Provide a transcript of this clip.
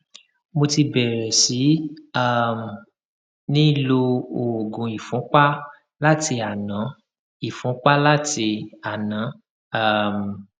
mo ti bẹrẹ sí um ní lo oògùn ìfúnpá láti àná ìfúnpá láti àná um